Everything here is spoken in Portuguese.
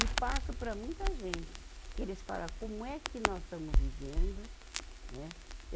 E passo para muita gente, que eles fala, como é que nós estamos vivendo, né?